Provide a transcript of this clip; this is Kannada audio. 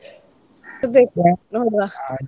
ನೋಡ್ವಾ.